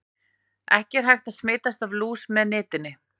Ekki er hægt að smitast af lús með nitinni.